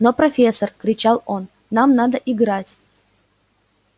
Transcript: но профессор кричал он нам надо играть